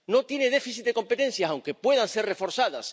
No tiene déficit de competencias, aunque puedan ser reforzadas.